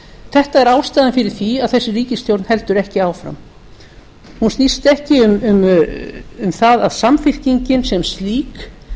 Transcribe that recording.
þetta er ástæða fyrir því að þessi ríkisstjórn heldur ekki áfram hún snýst ekki um það að samfylkingin sem slík